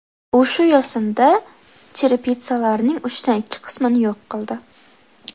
U shu yo‘sinda cherepitsalarning uchdan ikki qismini yo‘q qildi.